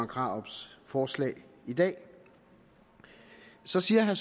krarups forslag i dag så siger